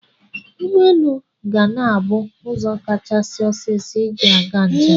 Ụgbọelu ga na-abụ ụzọ kachasị ọsiisọ iji aga njem.